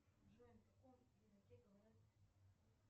джой на каком языке говорят